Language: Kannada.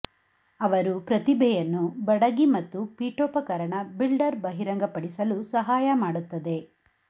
ಅವರು ಪ್ರತಿಭೆಯನ್ನು ಬಡಗಿ ಮತ್ತು ಪೀಠೋಪಕರಣ ಬಿಲ್ಡರ್ ಬಹಿರಂಗಪಡಿಸಲು ಸಹಾಯ ಮಾಡುತ್ತದೆ